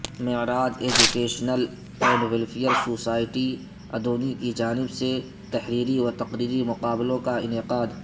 Meraj educational and welfare society Adoni کی جانب سے تحریری و تقریری مقابلوں کا انعقاد